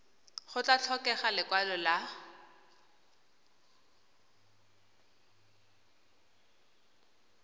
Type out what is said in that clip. go tla tlhokega lekwalo la